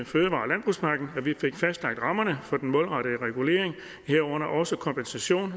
vi fik fastlagt rammerne for den målrettede regulering herunder også kompensation